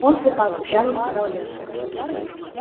он трупак упрямо сказал я